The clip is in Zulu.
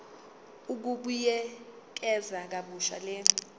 ukubuyekeza kabusha le